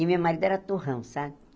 E o meu marido era torrão, sabe?